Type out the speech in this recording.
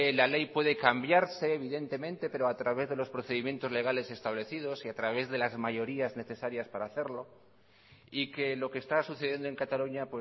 la ley puede cambiarse evidentemente pero a través de los procedimientos legales establecidos y a través de las mayorías necesarias para hacerlo y que lo que está sucediendo en cataluña